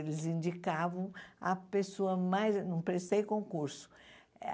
Eles indicavam a pessoa mais... Não prestei concurso.